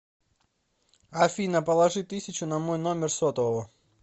афина положи тысячу на мой номер сотового